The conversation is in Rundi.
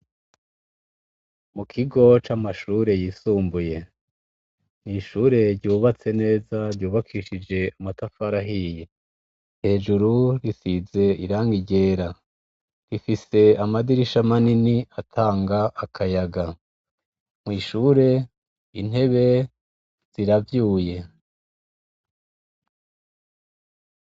Mu kigoc' amashure yisumbuye mw'ishure ryubatse neza ryubakishije amatafarahiye hejuru risize iranga iryera rifise amadirisha manini atanga akayaga mwishure intebe ziravyuye.